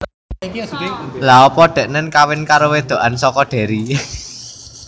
Lha opo deknen kawin karo wedokan soko Derry